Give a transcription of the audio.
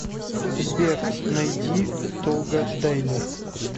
сбер найди толга дайлер